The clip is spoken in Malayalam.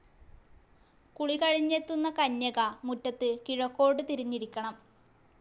കുളി കഴിഞ്ഞെത്തുന്ന കന്യക മുറ്റത്ത് കിഴക്കോട്ടു തിരിഞ്ഞിരിക്കണം.